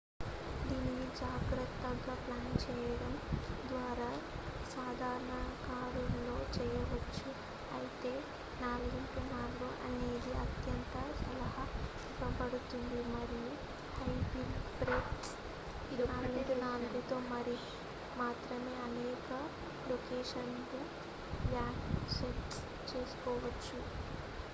దీనిని జాగ్రత్తగా ప్లాన్ చేయడం ద్వారా సాధారణ కారులో చేయవచ్చు అయితే 4x4 అనేది అత్యంత సలహా ఇవ్వబడుతుంది మరియు హై వీల్ బేస్ 4x4తో మాత్రమే అనేక లొకేషన్ లు యాక్సెస్ చేసుకోబడతాయి